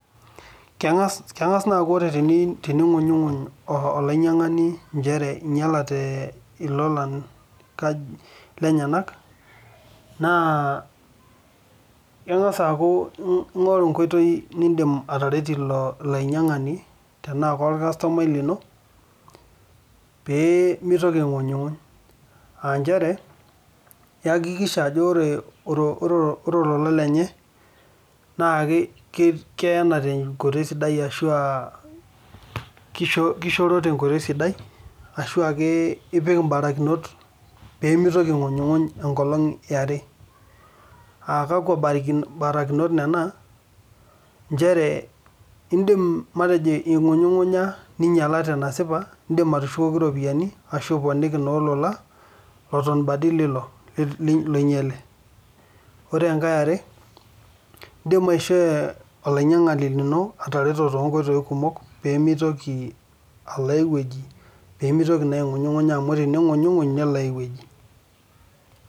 First when you complain as a buyer that his or her luggage got damage then you can get ways to help that person if he or she is your customer so as to stop complaining that you make sure his or her luggage is kept well or put things in order just to make sure he or she doesn't complain again . Those step are you can let say he or she complains and yes his or her luggage got damage you can return the money or replace the luggage another you can help your customer in many ways so that he cannot go anywhere or complains because when he complain he will go to another place.